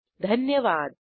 सहभागासाठी धन्यवाद